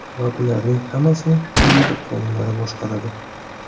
Va bularning hammasini fizika qonunlari boshqaradi.